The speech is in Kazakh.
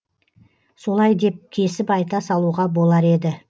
солай деп кесіп айта салуға болар еді